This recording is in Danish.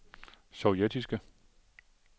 sovjetiske